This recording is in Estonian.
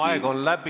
Aeg on läbi!